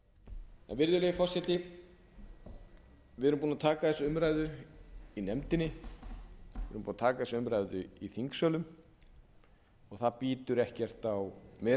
þingsölum virðulegi forseti við erum búin að taka þessa umræðu í nefndinni erum búin að taka þessa umræðu í þingsölum og það bítur ekkert á meiri hlutann það